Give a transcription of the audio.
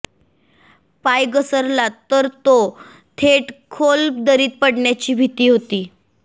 पाय घसरला तर तो थेट खोल दरीत पडण्याची भीती होती